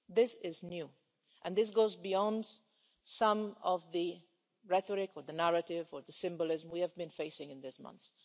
This is new and it goes beyond some of the rhetoric or the narrative or the symbolism we have been facing in recent months.